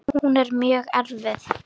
Hún er mjög erfið.